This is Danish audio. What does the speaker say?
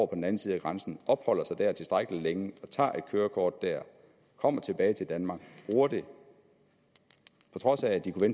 den anden side af grænsen opholder sig der tilstrækkelig længe og tager et kørekort der kommer tilbage til danmark bruger det på trods af at de kunne